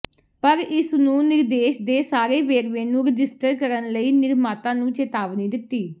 ਪਰ ਇਸ ਨੂੰ ਨਿਰਦੇਸ਼ ਦੇ ਸਾਰੇ ਵੇਰਵੇ ਨੂੰ ਰਜਿਸਟਰ ਕਰਨ ਲਈ ਨਿਰਮਾਤਾ ਨੂੰ ਚੇਤਾਵਨੀ ਦਿੱਤੀ